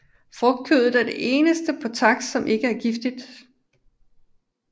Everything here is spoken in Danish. Frugtkødet er det eneste på taks som ikke er giftig